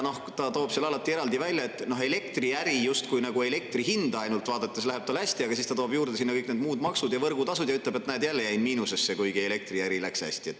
Ta toob alati eraldi välja selle, et justkui ainult elektri hinda vaadates läheb elektriäri hästi, aga siis ta toob sinna juurde kõik need muud maksud ja võrgutasud ning ütleb, et näe, jälle jäi ta miinusesse, kuigi elektriäri läks hästi.